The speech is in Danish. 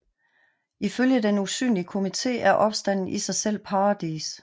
Ifølge den usynlige komité er opstanden i sig selv paradis